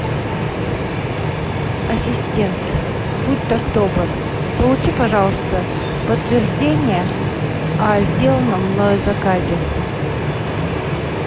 ассистент будь так добр получи пожалуйста подтверждение о сделанном мною заказе